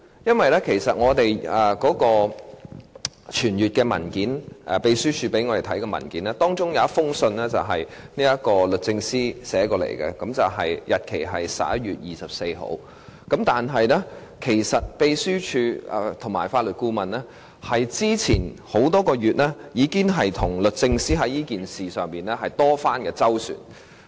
在秘書處傳閱給我們的文件中，看到一封由律政司發出的信函，日期為11月24日；但是，秘書處和法律顧問已經在之前多個月就這事件與律政司作多番周旋。